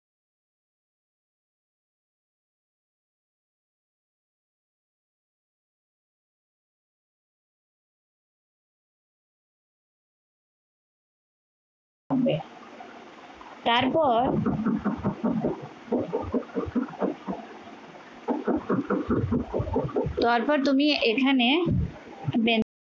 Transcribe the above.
তারপর তারপর তুমি এখানে